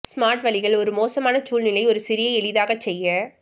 smart வழிகள் ஒரு மோசமான சூழ்நிலை ஒரு சிறிய எளிதாக செய்ய